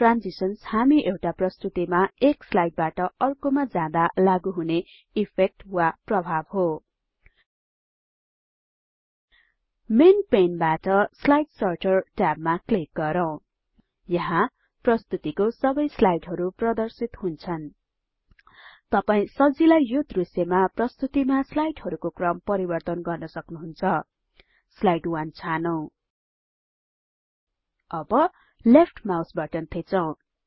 transitions हामी एउटा प्रस्तुतिमा एक स्लाइडबाट अर्कोमा जादाँ लागु हुने इफेक्ट वा प्रभाब हो मेन पेन बाट स्लाइड सर्टर ट्याबमा क्लिक गरौँ यहाँ प्रस्तुतिको सबै स्लाइडहरु प्रदर्शित हुन्छन तपाई सजिलै यो दृश्यमा प्रस्तुतिमा स्लाइडहरुको क्रम परिवर्तन गर्न सक्नुहुन्छ स्लाइड 1 छानौं अब लेफ्ट माउस बटन थिचौं